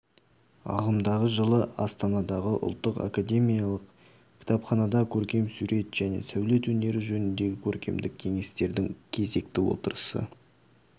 ағымдағы жылы астанадағы ұлттық академиялық кітапханада көркем сурет және сәулет өнері жөніндегі көркемдік кеңестердің кезекті отырысы